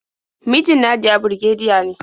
Mijin Nadiya birgediya ne.